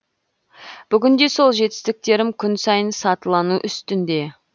бүгінде сол жетістіктерім күн сайын сатылану үстінде